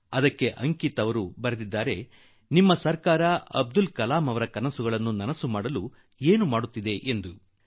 ಇದೇ ಕಾರಣದಿಂದ ಅಂಕಿತ್ ನನಗೆ ನಿಮ್ಮ ಸರ್ಕಾರ ಅಬ್ದುಲ್ ಕಲಾಂ ಜೀ ಅವರ ಕನಸುಗಳನ್ನು ಸಾಕಾರಗೊಳಿಸಲು ಏನು ಮಾಡುತ್ತಿದೆ ಎಂದು ಬರೆದಿದ್ದಾನೆ